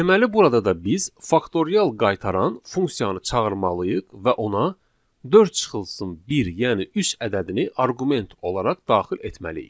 Deməli burada da biz faktorial qaytaran funksiyanı çağırmalıyıq və ona dörd çıxılsın bir, yəni üç ədədini arqument olaraq daxil etməliyik.